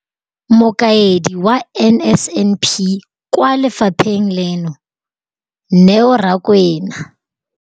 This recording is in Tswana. Mokaedi wa NSNP kwa lefapheng leno, Neo Rakwena,